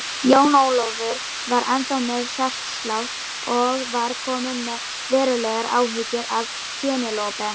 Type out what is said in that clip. Jón Ólafur var ennþá með hjártslátt og var kominn með verulegar áhyggjur af Penélope.